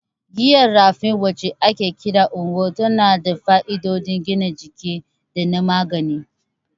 Giyar Raffia, wacce ake kira "Ngwo," tana da fa'idodin gina jiki da na magani.